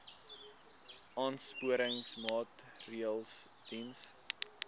aansporingsmaatre ls diens